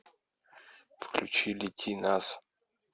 включи лети нас